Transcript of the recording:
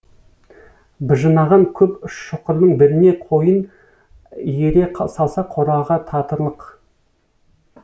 быжынаған көп шұқырдың біріне қойын иіре салса қораға татырлық